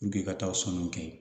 ka taa sanu kɛ yen